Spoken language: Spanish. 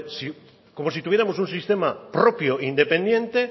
como si tuviéramos un sistema propio e independiente